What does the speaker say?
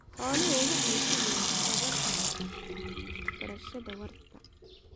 Xooluhu waxay si weyn uga qaybqaataan beerashada waarta.